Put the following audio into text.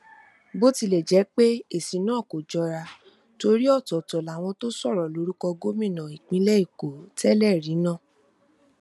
bó tilẹ jẹ pé èsì náà kò jọra torí ọtọọtọ làwọn tó sọrọ lórúkọ gómìnà ìpínlẹ èkó tẹlẹrí náà